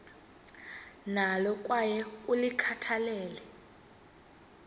nalo kwaye ulikhathalele